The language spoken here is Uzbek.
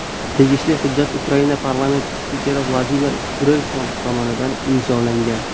Tegishli hujjat Ukraina parlamenti spikeri Vladimir Groysman tomonidan imzolangan.